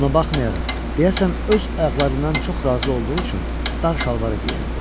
Buna baxmayaraq, deyəsən öz ayaqlarından çox razı olduğu üçün dar şalvarı geyərdi.